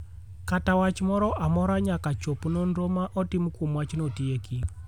kata wach moro amora nyaka chop nonro ma otim kuom wachno tieki